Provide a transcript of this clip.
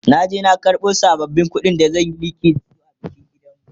na je na karbo sabbabin ƙuɗin da zan Yi liƙi da su a bikin gidanmu